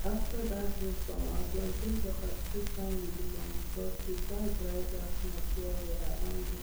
after that hailstorm our plantain sucker still stand gidigba because we pack dry grass mulch well well round dem